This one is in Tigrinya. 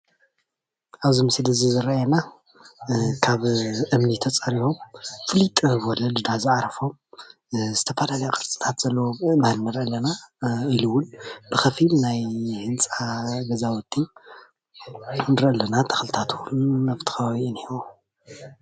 ኣብዚ ምስሊ እዚ ዝረአየና ካብ እምኒ ተፀሪቦም ኣብ ባይታ ዓሪፎም ዝተፈላለየ ቅርፅታት ዘለዎ ኣእማን ንሪኢ ኣለና፣ ኢሉ እውን ብከፊል ናይ ህንፃ ገዛውቲ ንሪኢ ኣለና፣ ተክልታት እውን ኣብቲ ከበባ እኒሀው፡፡